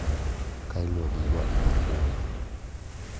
Ka iluwo gi ywak mar bunde.